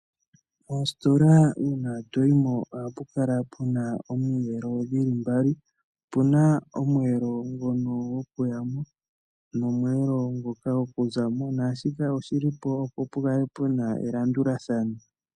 Moositola uuna to yi mo ohapu kala pu na omiyelo dhi li mbali. Opu na omweelo ngono gokuya mo nomweelo ngoka gokuza mo. Naashika oshi li po, opo pu kale pu na elandulathano.